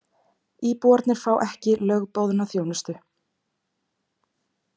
Íbúarnir fá ekki lögboðna þjónustu